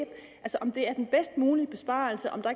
er den bedst mulige besparelse om der